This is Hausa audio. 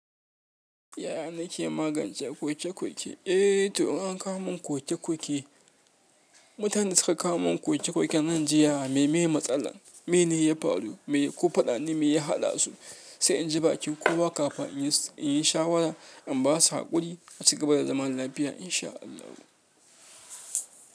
Yaya nake magance kwoke-kwoke? Eh, to in an kawo mun kwoke-kwoke, mutanen da suka kawo mun kwoke-kwoke nan jiya, me ne matsalar? Me ne ya faru? Me ko faɗa ne me ya haɗasu? Sai in ji bakin kowa kafin in yi shawara, in ba su haƙuri a cigaba da zaman lafiya insha ALLAHU.